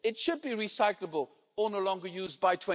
It should be recyclable or no longer used by